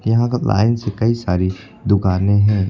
यहां का लाइन से कई सारी दुकाने हैं।